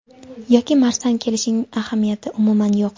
yoki marsdan kelishining ahamiyati umuman yo‘q.